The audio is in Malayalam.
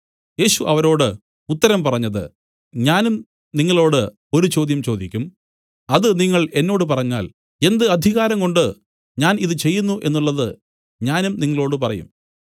യേശു അവരോട് ഉത്തരം പറഞ്ഞത് ഞാനും നിങ്ങളോടു ഒരു ചോദ്യം ചോദിക്കും അത് നിങ്ങൾ എന്നോട് പറഞ്ഞാൽ എന്ത് അധികാരംകൊണ്ട് ഞാൻ ഇതു ചെയ്യുന്നു എന്നുള്ളത് ഞാനും നിങ്ങളോടു പറയും